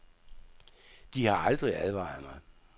De har aldrig advaret mig.